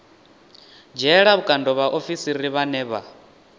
dzhiela vhukando vhaofisiri vhane vha